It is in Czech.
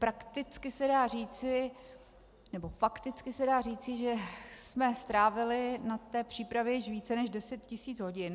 Prakticky se dá říci, nebo fakticky se dá říci, že jsme strávili na té přípravě více než deset tisíc hodin.